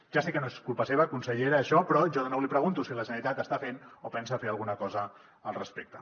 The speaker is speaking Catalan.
ja sé que no és culpa seva consellera això però jo de nou li pregunto si la generalitat està fent o pensa fer alguna cosa al respecte